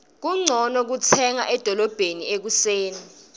kuncono kutsenga edolobheni ekuseni